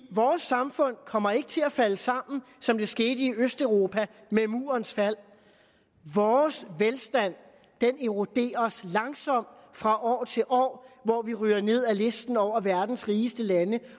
vores samfund kommer ikke til at falde sammen som det skete i østeuropa med murens fald vores velstand eroderes langsomt fra år til år hvor vi ryger ned ad listen over verdens rigeste lande